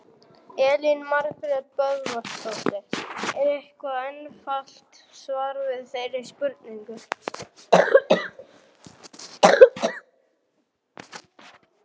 Elín Margrét Böðvarsdóttir: Er eitthvað einfalt svar við þeirri spurningu?